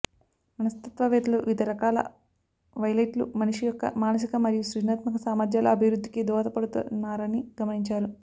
మనస్తత్వవేత్తలు వివిధ రకాల వైలెట్లు మనిషి యొక్క మానసిక మరియు సృజనాత్మక సామర్ధ్యాల అభివృద్ధికి దోహదపడుతున్నారని గమనించారు